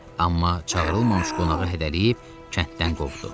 Amma çağırılmamış qonağı hədələyib kənddən qovdu.